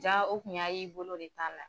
Jaa o tun y'a y'i bolo de t'a la